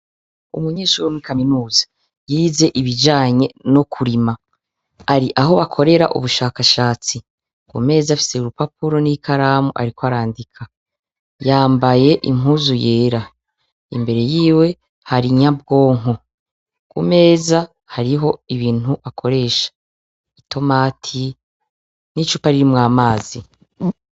Umunyeshure wo muri kaminuza yiz' ibijanye no kurima, ar' ah'akorer' ubushakashatsi, kumez' afis' urupapuro ni karam' arik' arandika, yambay' impuzu yera, imbere yiwe hari nyabwonko, kumeza harih' ibint' akoresh' itomati n' icupa ririmw' amazi .